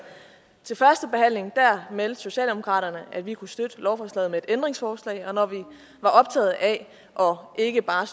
til førstebehandlingen meldte socialdemokratiet at vi kunne støtte lovforslaget med et ændringsforslag og når vi var optaget af ikke bare